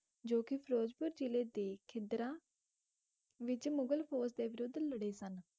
ਜੋ ਕਿ ਫਿਰੋਜ਼ਪੁਰ ਜ਼ਿਲੇ ਦੇ ਖਿੱਦਰਾਂ ਵਿੱਚ ਮੁਗਲ ਫੌਜ ਦੇ ਵਿਰੁੱਧ ਲੜੇ ਸਨ।